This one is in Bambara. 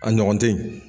A ɲɔgɔn te yen